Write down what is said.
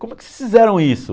Como é que vocês fizeram isso?